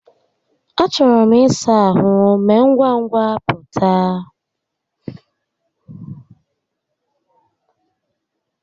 A chọrọ m ịsa ahụ, mee ngwa ngwa pụta.